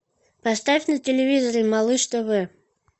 поставь на телевизоре малыш тв